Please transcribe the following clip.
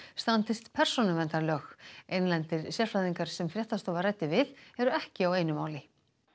standist persónuverndarlög innlendir sérfræðingar sem fréttastofa ræddi við eru ekki á einu máli